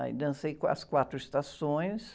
Aí dancei qua, as quatro estações.